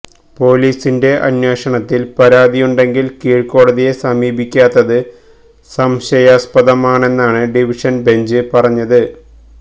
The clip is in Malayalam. പോലീസിന്റെ അന്വേഷണത്തില് പരാതിയുണ്ടെങ്കില് കീഴ്ക്കോടതിയെ സമീപിക്കാത്തത് സംശയാസ്പദമാണെന്നാണ് ഡിവിഷന് ബെഞ്ച് പറഞ്ഞത്